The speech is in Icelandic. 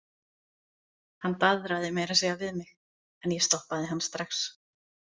Hann daðraði meira að segja við mig en ég stoppaði hann strax.